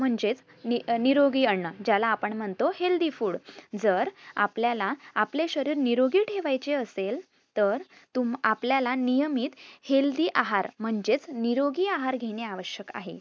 म्हणजेच निरोगी अन्न ज्याला आपण म्हणतो healthy food जर आपल्याला आपले शरीर निरोगी ठेवायचे असेल तर तुम आपल्याला नियमित healthy आहार म्हणजेच निरोगी आहार घेणे आवश्यक आहे.